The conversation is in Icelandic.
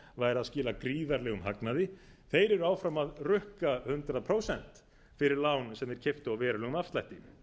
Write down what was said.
að skila gríðarlegum hagnaði þeir eru áfram að rukka hundrað prósent fyrir lán sem þeir keyptu á verulegum afslætti